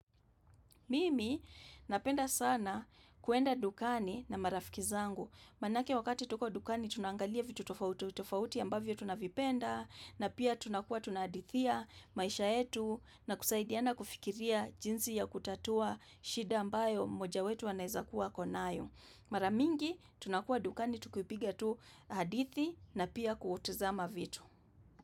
Mimi napenda sana kuwenda dukani na marafiki zangu. Maanake wakati tuko dukani tunangalia vitu tofauti. Tofauti ambavyo tunavipenda na pia tunakuwa tunahadithia maisha yetu na kusaidiana kufikiria jinsi ya kutatua shida ambayo moja wetu anaizakuwa akonayo. Mara mingi tunakua dukani tukipiga tu hadithi na pia kutazama vitu.